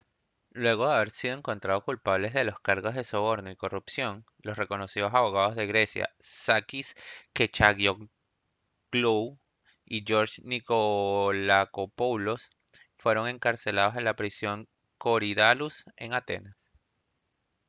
luego de haber sido encontrados culpables de los cargos de soborno y corrupción los reconocidos abogados de grecia sakis kechagioglou y george nikolakopoulos fueron encarcelados en la prisión de korydallus en atenas